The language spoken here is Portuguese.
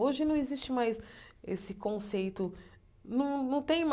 Hoje não existe mais esse conceito. Não não tem